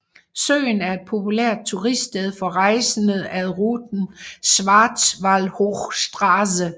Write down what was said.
Søen er et populært turiststed for rejsende ad ruten Schwarzwaldhochstraße